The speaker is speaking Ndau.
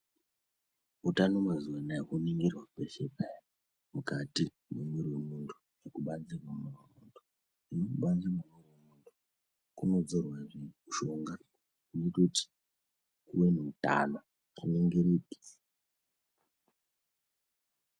Utano mazuwa ano aya hwoningirwa kweshe peya mukati mwemiiri wemuntu nekubanzi kwemwiri wemuntu ,kubanzi kwemwiri wemuntu kunotodzorwa zve mushonga unoite kuti uve neutano...